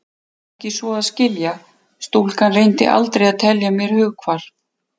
Ekki svo að skilja: stúlkan reyndi aldrei að telja mér hughvarf.